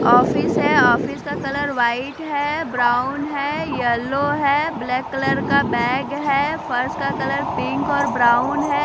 Office है office का colour white है ब्राउन है येलो है ब्लैक कलर का बैग है फर्स का कलर पिंक और ब्राउन है।